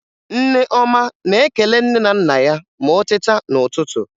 Nneọma na-ekele nne na nna ya ma o teta n'ụtụtụ